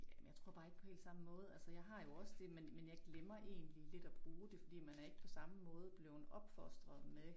Jamen jeg tror bare ikke på helt samme måde altså jeg har jo også det men men jeg glemmer egentlig lidt at bruge det fordi man er ikke på samme måde blevet opfostret med